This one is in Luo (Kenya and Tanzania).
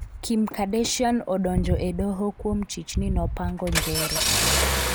Kim Kardashian odonjo e doho kuom chich ni nopango njore